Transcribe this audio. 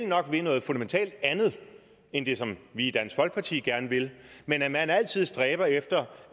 nok vil noget fundamentalt andet end det som vi i dansk folkeparti gerne vil men at man altid stræber efter